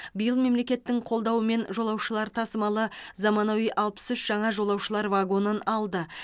биыл мемлекеттің қолдауымен жолаушылар тасымалы заманауи алпыс үш жаңа жолаушылар вагонын алды